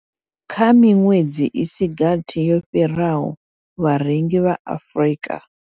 Kha miṅwedzi i si gathi yo fhiraho, vharengi vha Afrika.